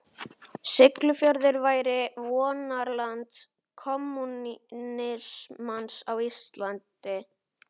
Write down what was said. Siglufjörður væri vonarland kommúnismans á Íslandi.